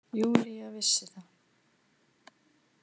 Júlía vissi það.